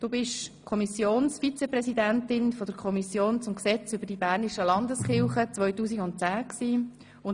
Im Jahr 2010 warst du Kommissionsvizepräsidentin der Kommission zum Gesetz über die bernischen Landeskirchen.